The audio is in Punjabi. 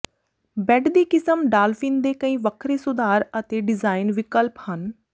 ਬੈੱਡ ਦੀ ਕਿਸਮ ਡਾਲਫਿਨ ਦੇ ਕਈ ਵੱਖਰੇ ਸੁਧਾਰ ਅਤੇ ਡਿਜ਼ਾਈਨ ਵਿਕਲਪ ਹਨ